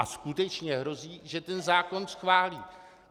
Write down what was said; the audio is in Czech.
A skutečně hrozí, že ten zákon schválí.